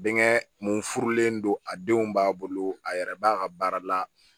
Bɛnkɛ mun furulen don a denw b'a bolo a yɛrɛ b'a ka baara la